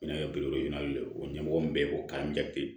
Bɛna o ɲɛmɔgɔ min bɛ yen ko